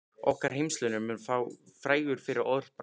Okkar heimshluti mun vera frægur fyrir orðbragð.